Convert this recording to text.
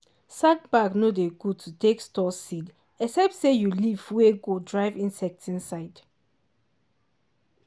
sack bag nor dey good to take store seed except say you leaf wey go drive insect inside.